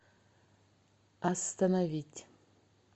остановить